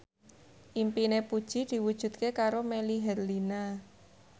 impine Puji diwujudke karo Melly Herlina